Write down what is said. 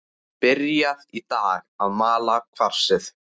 Byrjað í dag að mala kvarsið.